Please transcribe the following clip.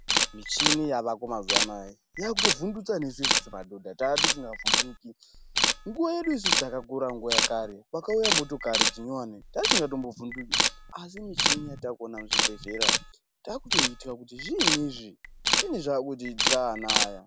Machini yavako mazuwa anayaa yakutovhundutsa nesu isusu madhodha taa tisinga vhunduki. Nguwa yedu isusu takaura nguwa yekare pakuya motokari dzinyowani taatisinga mbovhunduki asi michini yataakuona muzvibhedhlera taakutoitwya kuti zviinyi izvi zviinyi zvakutiitira ana aya.